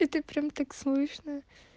это прям так слышно